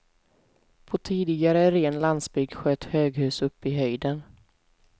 På tidigare ren landsbygd sköt höghus upp i höjden.